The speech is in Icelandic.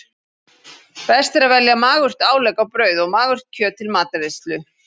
Best er að velja magurt álegg á brauð og magurt kjöt til matreiðslu.